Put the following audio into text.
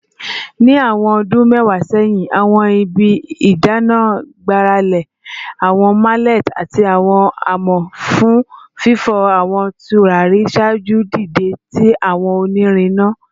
Ni awọn ọdun mẹwa sẹhin, awọn ibi idana gbarale awọn mallets ati awọn amọ fun fifọ awọn turari ṣaaju dide ti awọn onirin ina